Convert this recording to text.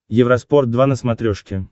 евроспорт два на смотрешке